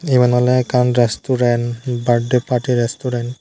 eben ole ekan resturant birthday party restaurant.